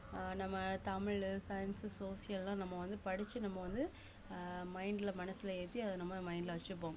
ஆஹ் நம்ம தமிழு science உ social அ நம்ம வந்து படிச்சு நம்ம வந்து அஹ் mind ல மனசுல ஏத்தி அத நம்ம mind ல வச்சிப்போம்